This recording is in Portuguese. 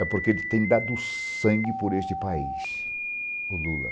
É porque ele tem dado sangue por este país, o Lula.